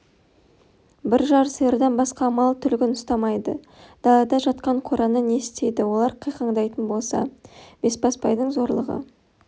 бір-жар сиырдан басқа мал түлігін ұстамайды далада жатқан қораны не істейді олар қиқаңдайтын болса бесбасбайдың зорлығы